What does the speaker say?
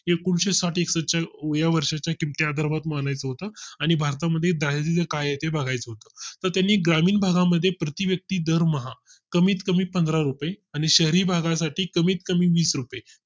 एकूणशे साठ एकसष्ठ च्या या वर्षाच्या धर्मात मानायचं होतं आणि भारता मध्ये दारिद्य त्याचे काय ते बघाय चं होत तर त्यांनी ग्रामीण भागा मध्ये प्रति व्यक्ती दरमाहा कमीत कमी पंधरा रुपये आणि शहरी भागा साठी कमीत कमी वीस रुपये